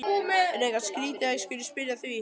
Er eitthvað skrýtið að ég skuli spyrja að því?